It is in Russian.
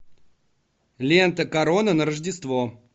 лента корона на рождество